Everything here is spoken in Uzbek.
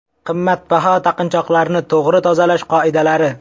Qimmatbaho taqinchoqlarni to‘g‘ri tozalash qoidalari.